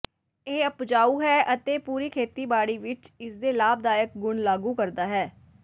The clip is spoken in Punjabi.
ਇਹ ਉਪਜਾਊ ਹੈ ਅਤੇ ਪੂਰੀ ਖੇਤੀਬਾੜੀ ਵਿਚ ਇਸ ਦੇ ਲਾਭਦਾਇਕ ਗੁਣ ਲਾਗੂ ਕਰਦਾ ਹੈ